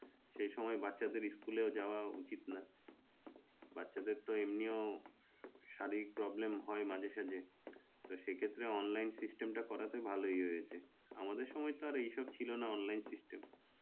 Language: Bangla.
সেই সময় বাচ্চাদের school এ যাওয়া উচিত না, বাচ্চাদের তো এমনি ও শারীরিক problem হয় মাঝে-সাঝে তো সে ক্ষেত্রে online system টা করাতে ভালোই হয়েছে, আমাদের সময় তো আর এইসব ছিলনা online system